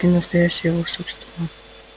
прямо-таки настоящее волшебство